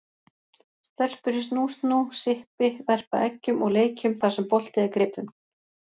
Stelpur í snú-snú, sippi, verpa eggjum og leikjum þar sem bolti er gripinn.